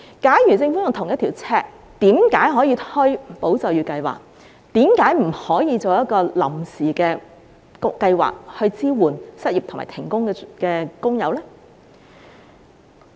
假如政府秉承同一標準，為何可以推出"保就業"計劃，卻不可以推出一項臨時計劃，支援失業和停工的工友呢？